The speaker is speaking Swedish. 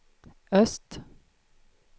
öst